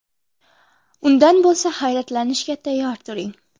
Undan bo‘lsa, hayratlanishga tayyor turing.